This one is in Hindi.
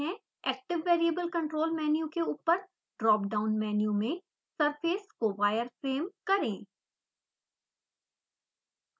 active variable control menu के ऊपर ड्राप डाउन मेन्यू में surface को wireframe करें